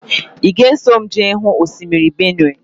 Ị ga-eso m jee hụ osimiri Benue?